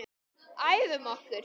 Æfum okkur.